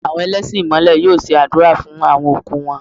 Àwọn ẹlẹ́sìn Ìmàlè yóò ṣe àdúrà fún àwon òkú wọn.